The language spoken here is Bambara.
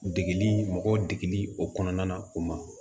Degeli mɔgɔ degeli o kɔnɔna o ma